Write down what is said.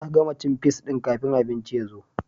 Ta gama cin fis din kafin abincin ya zo